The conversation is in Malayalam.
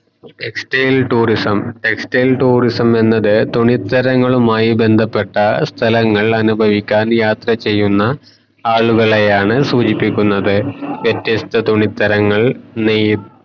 textile tourism എന്നത് തുണിത്തരങ്ങളുമായി ബന്ധപ്പെട്ട സ്ഥലങ്ങൾ അനുഭവിക്കാൻ യാത്ര ചെയ്യുന്ന ആളുകളെയാണ് സൂചിപ്പിക്കുനത് വ്യത്യസ്ത തുണിത്തരങ്ങൾ നെയ്യ്